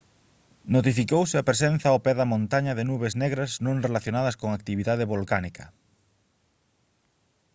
notificouse a presenza ao pé da montaña de nubes negras non relacionadas con actividade volcánica